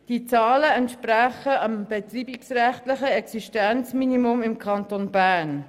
Diese Zahlen entsprechen dem betreibungsrechtlichen Existenzminimum im Kanton Bern.